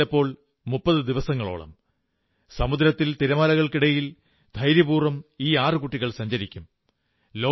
മറ്റു ചിലപ്പോൾ 30 ദിവസങ്ങളോളം സമുദ്രത്തിൽ തിരമാലകൾക്കിടയിൽ ധൈര്യപൂർവ്വം ഈ ആറു കുട്ടികൾ സഞ്ചരിക്കും